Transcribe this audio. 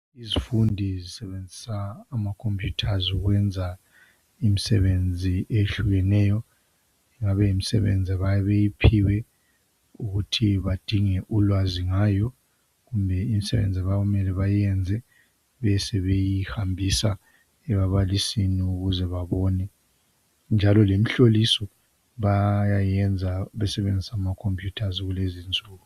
Izifundi zisebenzisa amakhompuyutha ukwenza imisebenzi eyehlukeneyo kungaba yimisebenzi abayabebiyiphiwe ukuthi badinge ulwazi ngayo. Kumbe yimisebenzi okumele bayenze besebeyihambise kubabalisi ukuthi babone. Njalo lemihlolisweni bayasebenzisa amakhompuyutha kulezinsuku.